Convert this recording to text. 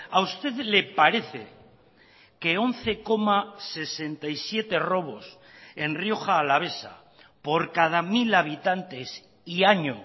a usted le parece que once coma sesenta y siete robos en rioja alavesa por cada mil habitantes y año